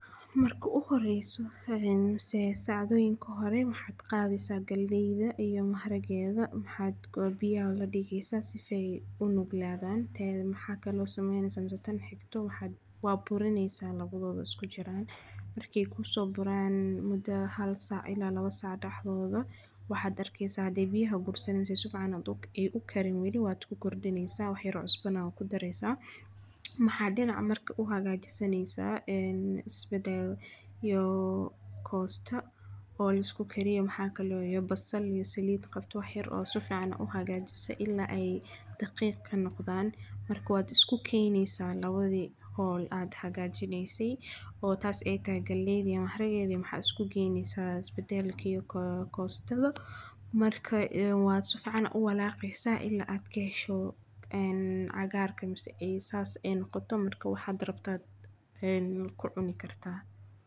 Marka u horreeyay seesaacado, in kooxre maxaad qaadi saak galbeeda iyo mahatakeeda. Maxaad goobiyaa ladiikiisa sifay u nuglaadaan. Taariikhdh, maxaa kaloo sameeyay samisatayn hekto waxaad waa burinaysa lagu dhoodhoos ku jiraan. Markii kuu soo buraan muddo ahaal saa ilaa laba sa'ad dhag dhoodhoo. Waxaad arkiisa deebihi guursiinsed sufaanadug ay u karin weli waad ku kordhinaysaa waxay ruuc banan ku dareesaa. Maxaa dina marka u hagaajisaneysaa isbedeel iyo koosta oo la isku kariyo maxaa kaloo yoobas sal iyo saliid qabto wax xir oo sufaana u hagaajisa illaa ay daqiiq ka noqdaan. Marka waad isku keenaysaa labadii hol aad hagaajinaysay oo taas ee galbeed iyo markeedi maxaa isku keenaysaas isbedeelkiyagu koostada marka waa sufacan u walaacaysa ilaa aad ka hesho cagaarkan ay saas noqoto marka waxaad rabtaad ku cuni kartaa.